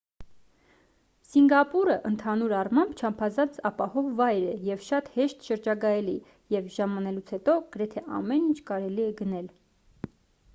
սինգապուրը ընդհանուր առմամբ չափազանց ապահով վայր է և շատ հեշտ շրջագայելի և ժամանելուց հետո գրեթե ամեն ինչ կարելի է գնել